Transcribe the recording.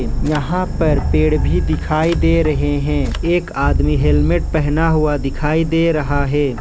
यहां पर पेड़ भी दिखाई दे रहे हैं एक आदमी हेलमेट पहना हुआ दिखाई दे रहा है।